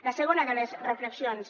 la segona de les reflexions